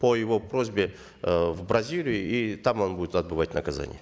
по его просьбе э в бразилию и там он будет отбывать наказание